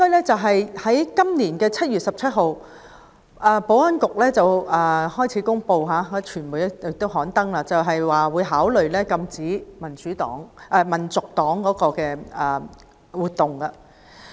在今年的7月17日，保安局公布並向傳媒表示會考慮禁止香港民族黨的活動。